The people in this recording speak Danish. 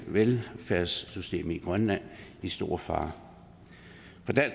velfærdssystemet i grønland i stor fare